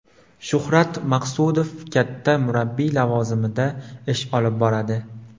Shuhrat Maqsudov katta murabbiy lavozimida ish olib boradi.